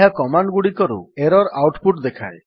ଏହା କମାଣ୍ଡ୍ ଗୁଡିକରୁ error output ଦେଖାଏ